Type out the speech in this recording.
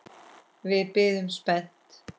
Við biðum spennt.